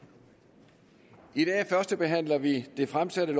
i dag førstebehandler vi det fremsatte